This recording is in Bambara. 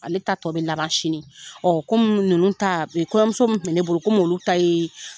Ale ta tɔ bɛ laban sini. Komi ninnu ta, kɔɲɔmuso minnu kun bɛ ne bolo kom'olu ta ye